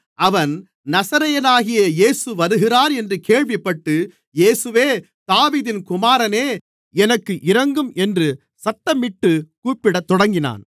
அவன் நசரேயனாகிய இயேசு வருகிறார் என்று கேள்விப்பட்டு இயேசுவே தாவீதின் குமாரனே எனக்கு இரங்கும் என்று சத்தமிட்டு கூப்பிடத் தொடங்கினான்